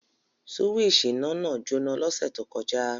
Súwísì iná náà jóná l'ọ́ṣẹ̀ tó kọjá